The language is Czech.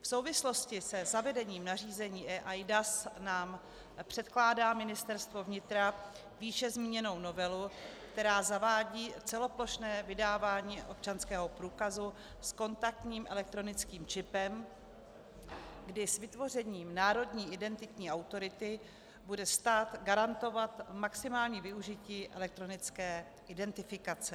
V souvislosti se zavedením nařízení eIDAS nám předkládá Ministerstvo vnitra výše zmíněnou novelu, která zavádí celoplošné vydávání občanského průkazu s kontaktním elektronickým čipem, kdy s vytvořením národní identitní autority bude stát garantovat maximální využití elektronické identifikace.